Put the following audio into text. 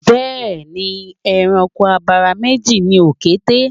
Bẹẹ ni, ẹranko abara méjì ni òkété